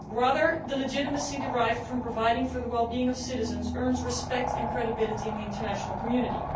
Rather, the legitimacy derived from providing for the well being of citizens earns respect and credibility in the international community.